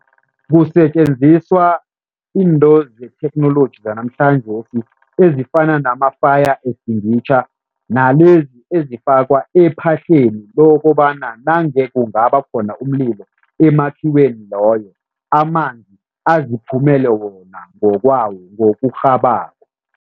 Kusetjenziswa into zetheknoloji zanamhlanjesi ezifana nama-fire extinguisher nalezi ezifakwa ephahleni lokobana nange kungaba khona umlilo emakhiweni loyo, amanzi aziphumele wona ngokwawo ngokurhabako.